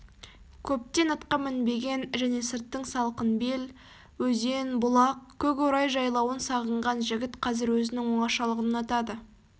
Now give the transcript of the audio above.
көптен атқа мінбеген және сырттың салқын бел өзен бұлақ көк орай жайлауын сағынған жігіт қазір өзінің оңашалығын ұнатады